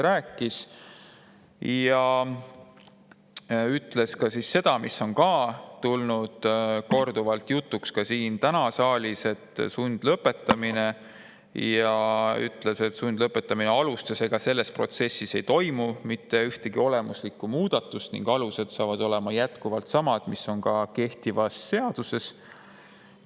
Ta ütles seda, mis on samuti tulnud korduvalt jutuks, tuli ka täna siin saalis, et selles protsessis ei toimu mitte ühtegi olemuslikku muudatust ning sundlõpetamise alused on ka edaspidi samad, mis on kehtivas seaduses.